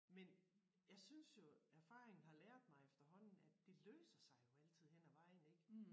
Men jeg synes jo erfaring har lært mig efterhånden at det løser sig jo altid hen ad vejen ik